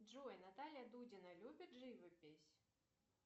джой наталья дудина любит живопись